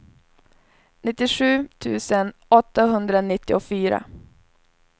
nittiosju tusen åttahundranittiofyra